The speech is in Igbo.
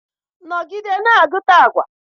nọgide na-agụta agwa!